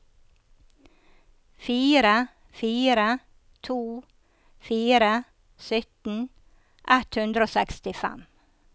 fire fire to fire sytten ett hundre og sekstifem